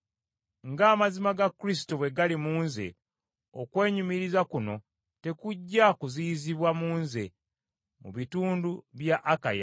Ng’amazirna ga Kristo bwe gali mu nze, okwenyumiriza kuno tekujja kuziyizibwa mu nze mu bitundu bya Akaya.